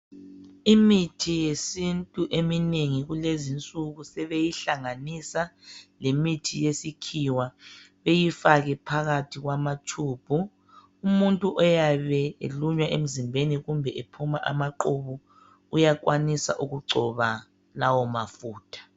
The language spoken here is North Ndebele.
Imithi yesintu eminengi kulezi insuku sebeyihlanganisa lemithi yesikhiwa. Beyifake phakathi kwama tshubhu. Umuntu oyabe elunywa emzimbeni kumbe ephuma amaqhubu uyakwanisa ukugcoba lawo mafutha.